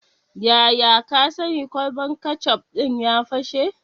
Yaya ka sani kwalban kecof ɗin ya fashe?